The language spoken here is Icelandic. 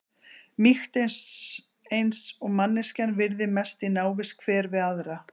Mýkt eins eins og manneskjan virðir mest í návist hver við aðra.